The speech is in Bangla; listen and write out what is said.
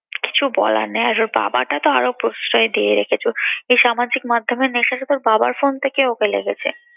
কিছু বলার নেই আর ওর বাবাটা তো আর প্রশ্রয় দিয়ে রেখেছে। এই সামাজিক মাধ্যমের নেশা শুধু ওর বাবার phone থেকে ওকে লেগেছে।